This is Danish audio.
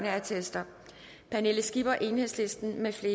halvfjerds pernille skipper mfl